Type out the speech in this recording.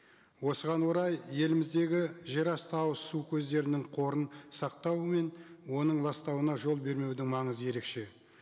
осыған орай еліміздегі жерасты ауызсу көздерінің қорын сақтауы мен оның ластауына жол бермеудің маңызы ерекше